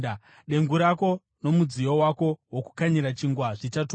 Dengu rako nomudziyo wako wokukanyira chingwa zvichatukwa.